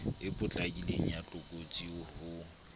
e potlakileng ya tlokotsi ho